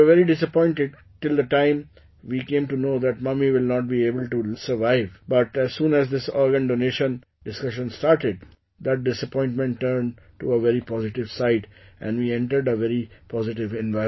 We were very disappointed till the time we came to know that mummy will not be able to survive, but as soon as this organ donation discussion started, that disappointment turned to a very positive side and we entered a very positive environment